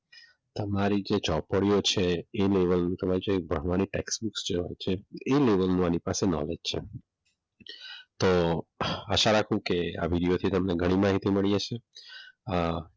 આ તમારી તે ચોપડીઓ છે એ લેવલનો તમારી જે ભણવાની ટેક્સ બુક હોતી હોય છે એ લેવલનો આની પાસે નોલેજ છે તો આશા રાખું કે આવી વિડીયો થી તમને ઘણી માહિતી મળી હશે.